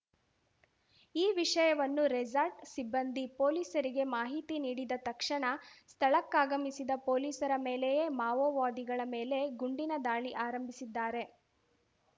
ಈ ವಿಷಯವನ್ನು ರೆಸಾರ್ಟ್ ಸಿಬ್ಬಂದಿ ಪೊಲೀಸರಿಗೆ ಮಾಹಿತಿ ನೀಡಿದ ತಕ್ಷಣ ಸ್ಥಳಕ್ಕಾಗಮಿಸಿದ ಪೊಲೀಸರ ಮೇಲೆಯೇ ಮಾವೋವಾದಿಗಳ ಮೇಲೆ ಗುಂಡಿನ ದಾಳಿ ಆರಂಭಿಸಿದ್ದಾರೆ